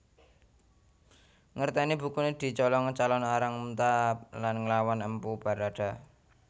Ngerteni bukune dicolong Calon Arang muntab lan nglawan Empu Baradah